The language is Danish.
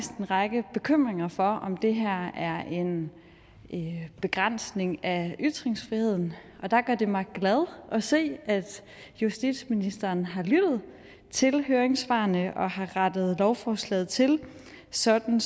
en række bekymringer for om det her er en begrænsning af ytringsfriheden og der gør det mig glad at se at justitsministeren har lyttet til høringssvarene og har rettet lovforslaget til sådan